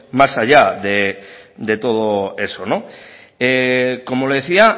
más allá de todo eso como le decía